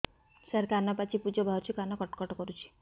ସାର କାନ ପାଚି ପୂଜ ବାହାରୁଛି କାନ କଟ କଟ କରୁଛି